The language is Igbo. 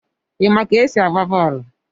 Ima ka esi agba bọọlụ?